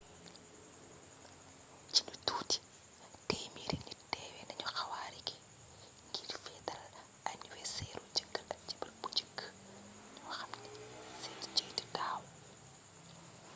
ci lu tuuti 100 nit teewe nañu xwaare gi ngir feetal aniwerseeru jëkkër ak jabar ju njëkk ñoo xam ne seen ceyt daaw